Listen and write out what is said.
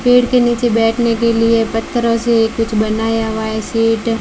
पेड़ के नीचे बैठने के लिए पत्थरों से कुछ बनाया हुआ है सेट --